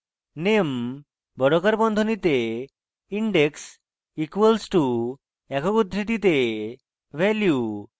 name বর্গাকার বন্ধনীতে index equals to একক উদ্ধৃতিতে value